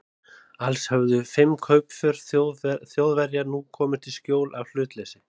Alls höfðu fimm kaupför Þjóðverja nú komist í skjól af hlutleysi